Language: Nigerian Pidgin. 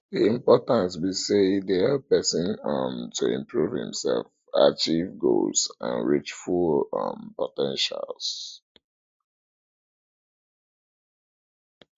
di importance be say e dey help pesin um to improve imself achieve goals and reach full um po ten tial